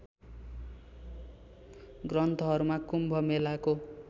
ग्रन्थहरूमा कुम्भ मेलाको